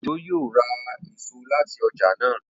Ojo yíò rá èso láti ọjà náa.